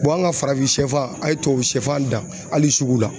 an ka farafin sɛfan a ye tubabu sɛfan dan hali suguw la